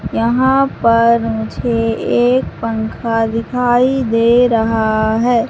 यहां पर मुझे एक पंखा दिखाई दे रहा है।